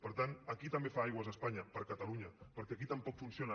per tant aquí també fa aigües espanya per catalunya perquè aquí tampoc funciona